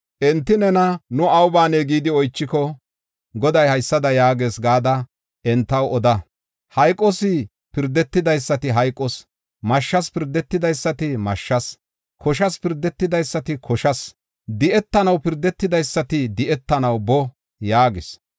Enti nena, ‘Nu awu baanee?’ gidi oychiko, Goday haysada yaagees gada entaw oda: ‘Hayqos pirdetidaysati hayqos; mashshas pirdetidaysati mashshas; koshas pirdetidaysati koshas; di7etanaw pirdetidaysati di7etanaw boo’ yaagis.